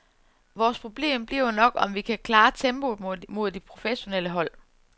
Vores problem bliver nok, om vi kan klare tempoet mod de professionelle hold.